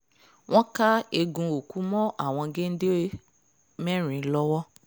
wọ́n ká eegun òkú mọ́ àwọn géńdé mẹ́rin lọ́wọ́